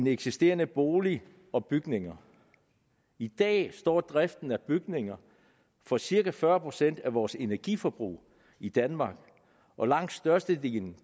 eksisterende boliger og bygninger i dag står driften af bygninger for cirka fyrre procent af vores energiforbrug i danmark og langt størstedelen